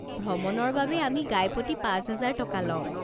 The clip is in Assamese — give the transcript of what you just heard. ভ্ৰমণৰ বাবে আমি গাইপতি পাঁচ হাজাৰ টকা লওঁ।